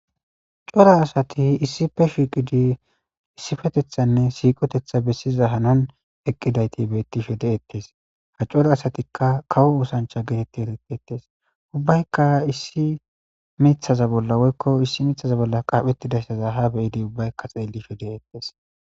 Cora asati issippe shiiqidi issippeteththanne siiqoteththa bessiza hanoni eqqidati beettishe de'etes. Ha cora asatikka kawo osanchcha geetettidi xeysetetes. Ubbaykka issi miththaza bolla woykko issi miththaza bolla qaaphettidaysaza ubbaykka ha be'idi xeellishe de'etes.